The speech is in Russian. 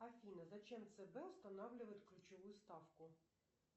афина зачем цб устанавливает ключевую ставку